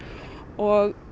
og